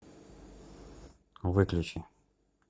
выключи